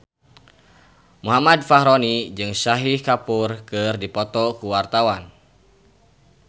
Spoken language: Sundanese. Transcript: Muhammad Fachroni jeung Shahid Kapoor keur dipoto ku wartawan